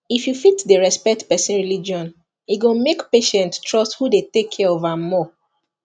if you fit dey respect person religion e go make patient trust who dey take care of am more